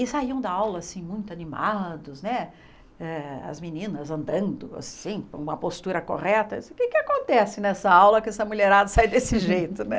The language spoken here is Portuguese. E saíam da aula, assim, muito animados, né, eh as meninas andando, assim, com uma postura correta, o que acontece nessa aula que essa mulherada sai desse jeito, né?